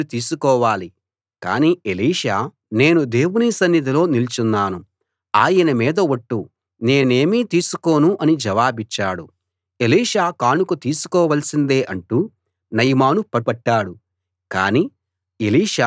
కానీ ఎలిషా నేను దేవుని సన్నిధిలో నిలుచున్నాను ఆయన మీద ఒట్టు నేనేమీ తీసుకోను అని జవాబిచ్చాడు ఎలీషా కానుక తీసుకోవాల్సిందే అంటూ నయమాను పట్టుపట్టాడు కానీ ఎలీషా ఒప్పుకోలేదు